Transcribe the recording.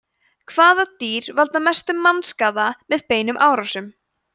hvaða dýr valda mestum mannskaða með beinum árásum